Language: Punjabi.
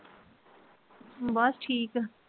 ਬਸ ਠੀਕ